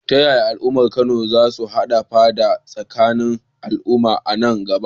Ta yaya al’ummar Kano za su hana fada tsakanin al’umma a nan gaba?